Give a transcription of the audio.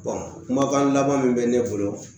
kumakan laban min bɛ ne bolo